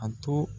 A to